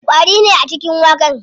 Ƙwari ne a cikin waken.